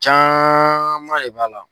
Caman de b'a la.